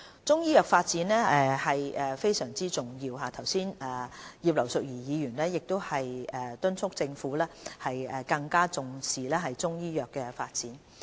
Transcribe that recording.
中醫藥發展是非常重要的，剛才葉劉淑儀議員亦敦促政府更重視中醫藥的發展。